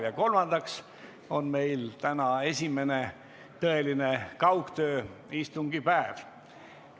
Ja kolmandaks on meil täna esimene tõeline kaugtööistungi päev.